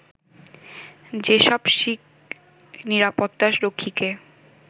যেসব শিখ নিরাপত্তা রক্ষীকে